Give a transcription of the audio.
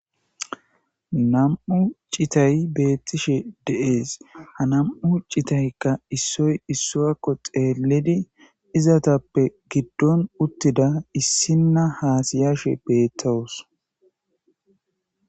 Nam,u citay beettishe deees ha nam,u citaykka issoy issuakko xeellidi izatappe giddon uttida issinna haasiyashe beettawos.